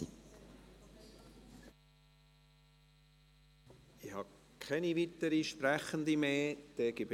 Ich habe keine weiteren Sprechenden mehr auf der Liste.